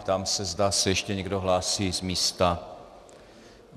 Ptám se, zda se ještě někdo hlásí z místa.